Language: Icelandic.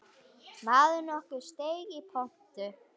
Maður nokkur steig í pontu.